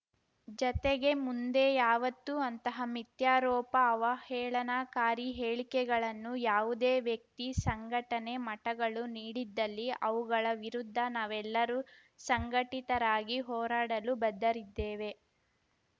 ಜತೆಗೆ ಮುಂದೆ ಯಾವತ್ತೂ ಅಂತಹ ಮಿಥ್ಯಾರೋಪ ಅವಹೇಳನಕಾರಿ ಹೇಳಿಕೆಗಳನ್ನು ಯಾವುದೇ ವ್ಯಕ್ತಿ ಸಂಘಟನೆ ಮಠಗಳು ನೀಡಿದ್ದಲ್ಲಿ ಅವುಗಳ ವಿರುದ್ಧ ನಾವೆಲ್ಲರೂ ಸಂಘಟಿತರಾಗಿ ಹೋರಾಡಲು ಬದ್ಧರಿದ್ದೇವೆ